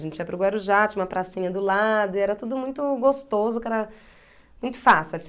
A gente ia para o Guarujá, tinha uma pracinha do lado, e era tudo muito gostoso, que era muito fácil.